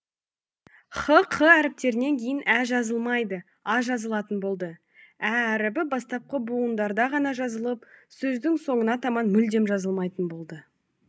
х қ әріптерінен кейін ә жазылмайды а жазылатын болды ә әрібі бастапқы бұуындарда ғана жазылып сөздің соңына таман мүлдем жазылмайтын болды